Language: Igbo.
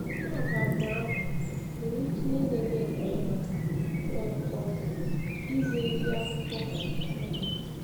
Map abụọ ahụ nwere ike inye gị ekele maka um um izi ezi akụkọ Baịbụl.